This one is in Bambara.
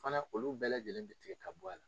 Fana olu bɛɛ lajɛlen bi tigɛ ka bɔ a la.